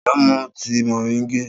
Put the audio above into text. Ta ló mu tíi moringa?